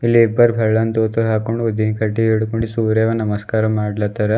ಇಲ್ಲಿ ಇಬ್ಬರ್ ಬೆಳ್ಳನ್ ದೋತಿ ಹಾಕೊಂಡ್ ಊದಿನ್ ಕಡ್ಡಿ ಹಿಡ್ಕೊಂಡ್ ಸೂರ್ಯಾಗ ನಮಸ್ಕಾರ ಮಾಡ್ಲಾತ್ತರ.